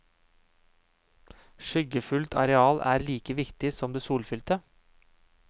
Skyggefullt areal er like viktig som det solfylte.